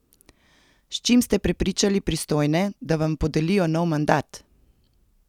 S čim ste prepričali pristojne, da vam podelijo nov mandat?